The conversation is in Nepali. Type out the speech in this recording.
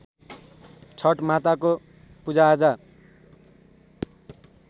छठ माताको पूजाआजा